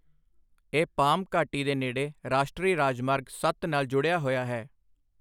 ਇਹ ਪਾਮ ਘਾਟੀ ਦੇ ਨੇੜੇ ਰਾਸ਼ਟਰੀ ਰਾਜਮਾਰਗ ਸੱਤ ਨਾਲ ਜੁੜਿਆ ਹੋਇਆ ਹੈ।